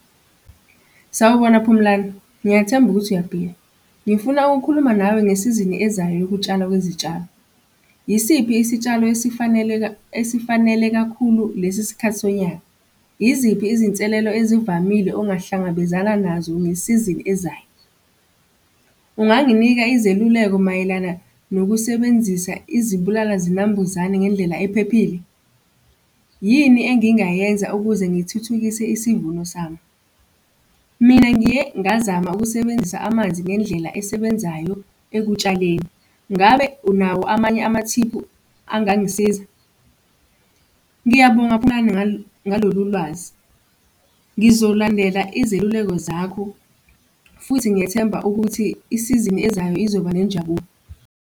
Sawubona Phumlani, ngiyethemba ukuthi uyaphila, ngifuna ukukhuluma nawe ngesizini ezayo yokutshala kwezitshalo. Yisiphi isitshalo esifaneleka, esifanele kakhulu lesi sikhathi sonyaka? Yiziphi izinselelo ezivamile ongahlangabezana nazo nge-season ezayo? Unganginika izeluleko mayelana nokusebenzisa izibulala zinambuzane ngendlela ephephile? Yini engingayenza ukuze ngithuthukise isivuno sabo? Mina ngiye ngazama ukusebenzisa amanzi ngendlela esebenzayo ekutshaleni. Ngabe unawo amanye amathiphu angangisiza? Ngiyabonga Phumlani ngalolu lwazi. Ngizolandela izeluleko zakho futhi ngiyethemba ukuthi i-season-i ezayo izoba nenjabulo.